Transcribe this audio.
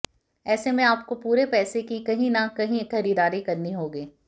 ऐसे में आपको पूरे पैसे की कहीं न कहीं खरीदारी करनी होगी